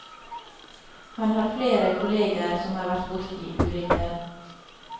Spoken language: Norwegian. Han har flere kolleger som har vært borti ulykker.